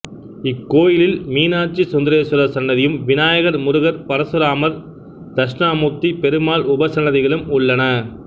இக்கோயிலில் மீனாட்சிசுந்தரேஸ்வரர் சன்னதியும் விநாயகர் முருகர் பரசுராமர் தட்சிணாமூர்த்தி பெருமாள் உபசன்னதிகளும் உள்ளன